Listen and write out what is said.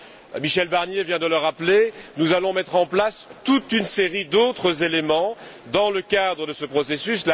Comme Michel Barnier vient de le rappeler, nous allons mettre en place toute une série d'autres éléments dans le cadre de ce processus.